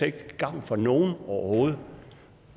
ikke til gavn for nogen overhovedet